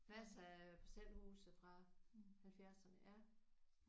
Masser af parcelhuse fra halvfjerdserne ja